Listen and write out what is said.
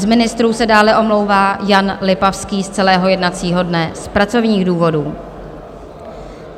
Z ministrů se dále omlouvá Jan Lipavský z celého jednacího dne z pracovních důvodů.